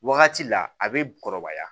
Wagati la a bɛ kɔrɔbaya